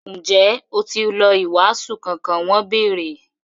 Ǹjẹ́ ó ti lọ “wàásù” kankan? wọ́n bèèrè.